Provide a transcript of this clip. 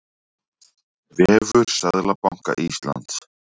Vefur Seðlabanka Íslands.